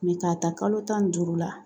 k'a ta kalo tan ni duuru la